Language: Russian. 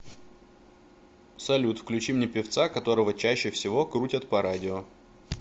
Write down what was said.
салют включи мне певца которого чаще всего крутят по радио